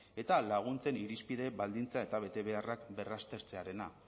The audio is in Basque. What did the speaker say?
eta laguntzen irizpide baldintza eta betebeharrak berraztertzea